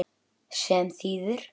Hann svíkur engan.